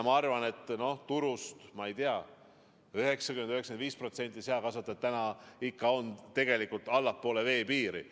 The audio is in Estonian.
Ma arvan, et turust, ma ei tea, on 90–95% seakasvatajad praegu tegelikult allpool veepiiri.